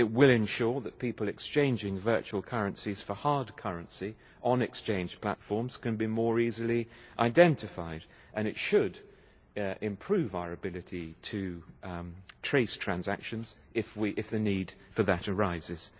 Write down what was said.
it will ensure that people exchanging virtual currencies for hard currency on exchange platforms can be more easily identified, and it should improve our ability to trace transactions, if the need for that arises.